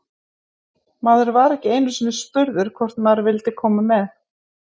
Maður var ekki einu sinni spurður hvort maður vildi koma með.